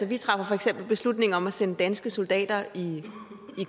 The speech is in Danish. vi træffer for eksempel beslutning om at sende danske soldater i